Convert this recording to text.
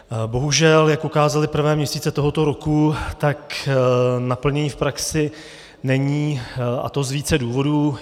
Bohužel jak ukázaly prvé měsíce tohoto roku, tak naplnění v praxi není, a to z více důvodů.